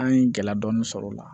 An ye gɛlɛya dɔɔni sɔrɔ o la